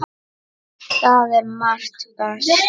Það er margt baslið.